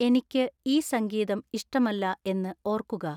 എനിക്ക് ഈ സംഗീതം ഇഷ്ടമല്ല എന്ന് ഓർക്കുക